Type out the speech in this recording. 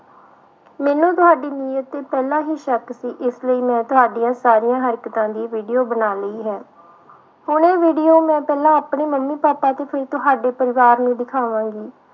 ਮੈਨੂੰ ਤੁਹਾਡੀ ਨੀਯਤ ਤੇ ਪਹਿਲਾਂ ਹੀ ਸ਼ੱਕ ਸੀ ਇਸ ਲਈ ਮੈਂ ਤੁਹਾਡੀ ਸਾਰੀਆਂ ਹਰਕਤਾਂ ਦੀ video ਬਣਾ ਲਈ ਹੈ, ਹੁਣ ਇਹ video ਮੈਂ ਪਹਿਲਾਂ ਆਪਣੀ ਮੰਮੀ ਪਾਪਾ ਤੇ ਫਿਰ ਤੁਹਾਡੇ ਪਰਿਵਾਰ ਨੂੰ ਦਿਖਾਵਾਂਗੀ।